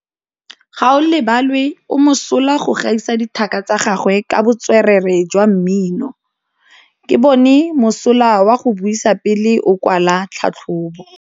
Gaolebalwe o mosola go gaisa dithaka tsa gagwe ka botswerere jwa mmino. Ke bone mosola wa go buisa pele o kwala tlhatlhobô.